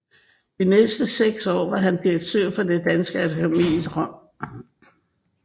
De næste 6 år var han direktør for Det danske Akademi i Rom